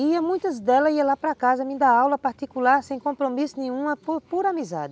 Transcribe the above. E muitas dela ia lá para casa me dar aula particular, sem compromisso nenhum, por pura amizade.